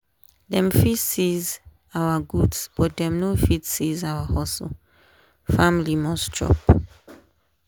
dem fit seize our goods but dem no fit seize our hustle family must chop.